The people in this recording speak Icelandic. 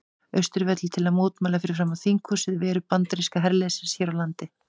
Austurvelli til að mótmæla fyrir framan þinghúsið veru bandaríska herliðsins hér á landi.